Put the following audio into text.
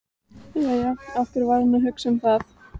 Jæja, af hverju var hann að hugsa um það?